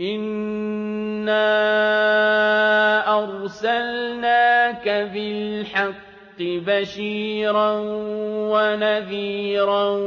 إِنَّا أَرْسَلْنَاكَ بِالْحَقِّ بَشِيرًا وَنَذِيرًا ۖ